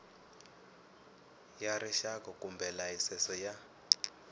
ya rixaka kumbe layisense ya